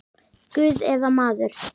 Guð eða maður?